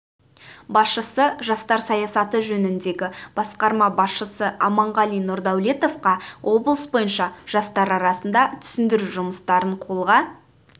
басшысы жастар саясаты жөніндегі басқарма басшысы аманғали нұрдәулетовқа облыс бойынша жастар арасында түсіндіру жұмыстарын қолға